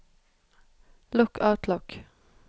lukk Outlook